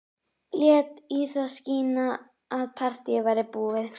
Lét í það skína að partíið væri búið.